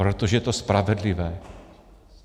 Protože to je spravedlivé.